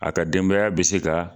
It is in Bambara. A ka denbaya bɛ se ka